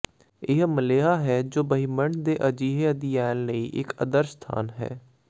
ਇਹ ਮਲੇਹਾ ਹੈ ਜੋ ਬ੍ਰਹਿਮੰਡ ਦੇ ਅਜਿਹੇ ਅਧਿਐਨ ਲਈ ਇਕ ਆਦਰਸ਼ ਸਥਾਨ ਹੈ